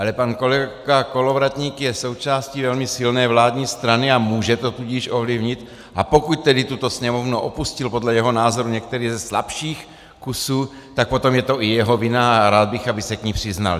Ale pan kolega Kolovratník je součástí velmi silné vládní strany, a může to tudíž ovlivnit, a pokud tedy tuto Sněmovnu opustil podle jeho názoru některý ze slabších kusů, tak potom je to i jeho vina a rád bych, aby se k ní přiznal.